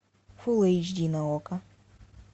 фул эйч ди на окко